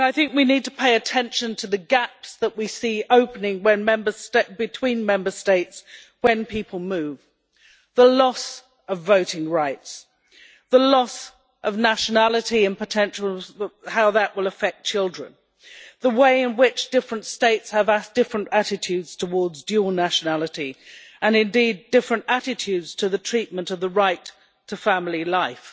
We need to pay attention to the gaps that we see opening between Member States when people move the loss of voting rights, the loss of nationality and potentials, and how that will affect children the way in which different states have a different attitudes towards dual nationality and indeed different attitudes to the treatment of the right to family life,